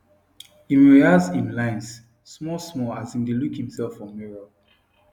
im rehearse im lines smallsmall as im dae look himself for mirror